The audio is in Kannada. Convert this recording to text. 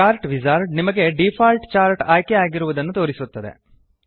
ಚಾರ್ಟ್ ವಿಜಾರ್ಡ್ ನಿಮಗೆ ಡಿಫಾಲ್ಟ್ ಚಾರ್ಟ್ ಆಯ್ಕೆ ಆಗಿರುವುದನ್ನು ತೋರಿಸುತ್ತದೆ